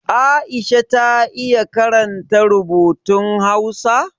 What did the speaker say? Aisha ta iya karanta rubutun Hausa?